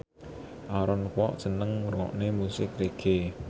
Aaron Kwok seneng ngrungokne musik reggae